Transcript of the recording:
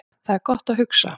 Þar er gott að hugsa